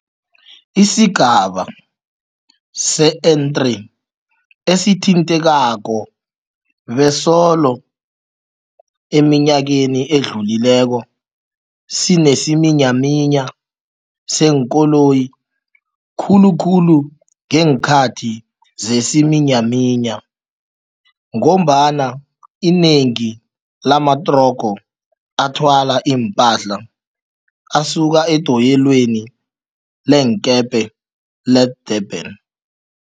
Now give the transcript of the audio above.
Isigaba se-N3 esithintekako besolo eminyakeni edlulileko sinesiminyaminya seenkoloyi, khulukhulu ngeenkhathi zesiminyaminya ngombana inengi lamatrogo athwala ipahla asuka edoyelweni leenkepe le-Durban